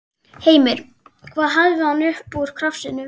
Heimir: Hvað hafði hann upp úr krafsinu?